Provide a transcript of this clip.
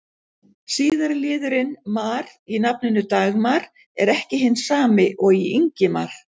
Síðari liðurinn-mar í nafninu Dagmar er ekki hinn sami og í Ingimar.